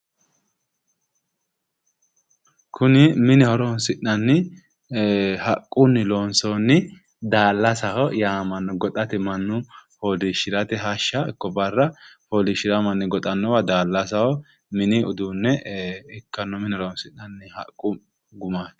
Kuni mine horoonsi'nanni haqunni loonsoonni daallasaho yaamamano goxate manu foolishirate hashsha ikko Barra foolishirao manni goxanowa daallasao minni uduune ikkano mine horoonsi'nanni haqqu gumaati.